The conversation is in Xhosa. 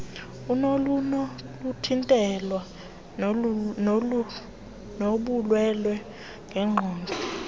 nolunokuthintelwa lobulwelwe ngenqondo